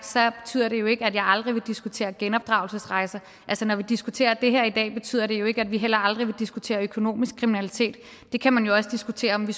sagt betyder det jo ikke at jeg aldrig vil diskutere genopdragelsesrejser altså når vi diskuterer det her i dag betyder det jo ikke at vi heller aldrig vil diskutere økonomisk kriminalitet det kan man jo også diskutere om vi